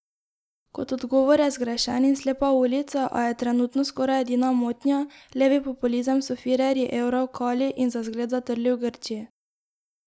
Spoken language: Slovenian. Kot odgovor je zgrešen in slepa ulica, a je trenutno skoraj edina motnja, levi populizem so firerji evra v kali in za zgled zatrli v Grčiji.